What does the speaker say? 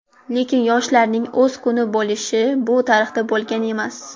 Lekin yoshlarning o‘z kuni bo‘lishi bu tarixda bo‘lgan emas.